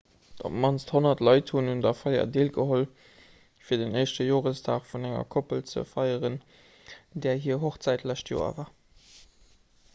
op d'mannst 100 leit hunn un der feier deelgeholl fir den éischte joresdag vun enger koppel ze feieren där hir hochzäit d'lescht joer war